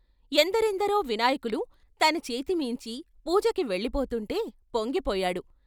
ఎందరెందరో వినాయకులు తన చేతిమీంచి పూజకి వెళ్ళిపోతుంటే పొంగిపోయాడు.